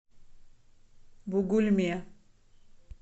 бугульме